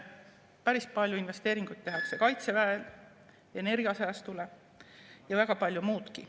Päris palju investeeringuid tehakse kaitseväele, energiasäästule ja väga palju muudki.